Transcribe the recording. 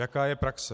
Jaká je praxe?